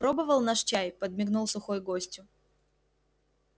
пробовал наш чай подмигнул сухой гостю